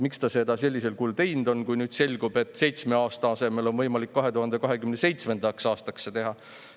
Miks ta seda sellisel kujul tegi, kui nüüd selgub, et seitsme aasta asemel on võimalik seda teha 2027. aastaks?